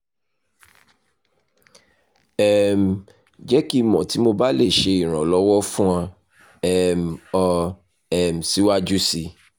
um jẹ ki n mọ ti mo ba le ṣe iranlọwọ fun um ọ um siwaju sii